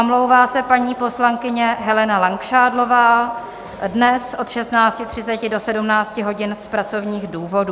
Omlouvá se paní poslankyně Helena Langšádlová dnes od 16.30 do 17 hodin z pracovních důvodů.